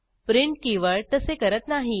print keyword तसे करत नाही